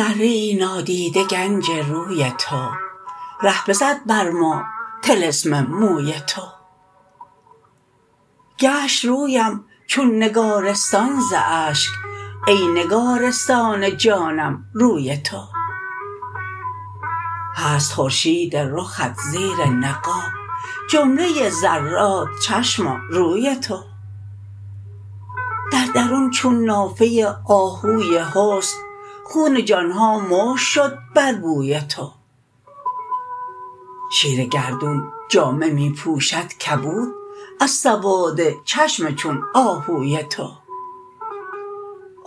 ذره ای نادیده گنج روی تو ره بزد بر ما طلسم موی تو گشت رویم چون نگارستان ز اشک ای نگارستان جانم روی تو هست خورشید رخت زیر نقاب جمله ذرات چشماروی تو در درون چون نافه آهوی حسن خون جان ها مشک شد بر بوی تو شیر گردون جامه می پوشد کبود از سواد چشم چون آهوی تو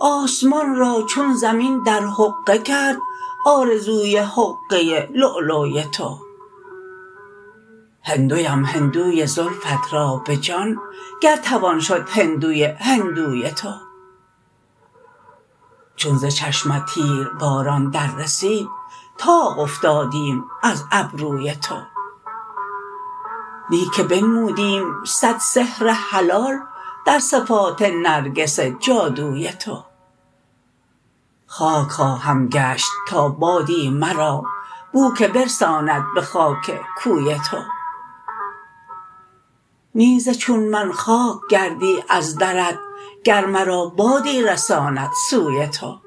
آسمان را چون زمین در حقه کرد آرزوی حقه للی تو هندویم هندوی زلفت را به جان گر توان شد هندوی هندوی تو چون ز چشمت تیرباران در رسید طاق افتادیم از ابروی تو نی که بنمودیم صد سحر حلال در صفات نرگس جادوی تو خاک خواهم گشت تا بادی مرا بو که برساند به خاک کوی تو نی ز چون من خاک گردی از درت گر مرا بادی رساند سوی تو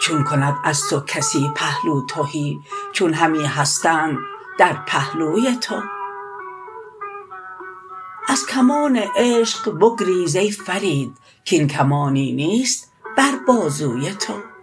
چون کند از توکسی پهلو تهی چون همی هستند در پهلوی تو از کمان عشق بگریز ای فرید کین کمانی نیست بر بازوی تو